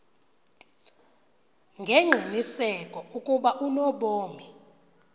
ngengqiniseko ukuba unobomi